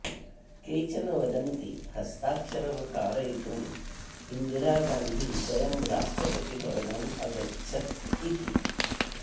केचन वदन्ति हस्ताक्षरं कारयितुम् इन्दिरा गान्धी स्वयं राष्ट्रपतिभवनम् अगच्छत् इति